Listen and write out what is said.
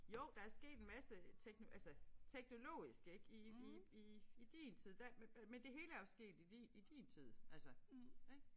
Jo der er sket en masse tekno altså teknologisk ik i i i i din tid der men det hele er jo sket i din i din tid altså ik